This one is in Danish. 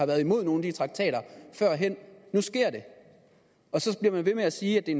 været imod nogle af de traktater nu sker det og så bliver man ved med at sige at